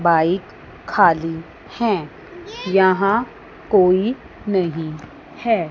Bike खाली है यहां कोई नहीं है।